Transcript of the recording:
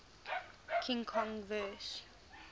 king kong vs